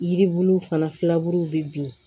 Yiribuluw fana filaburu bɛ bin